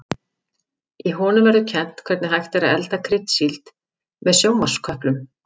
Í honum verður kennt hvernig hægt er að elda kryddsíld með sjónvarpsköplum.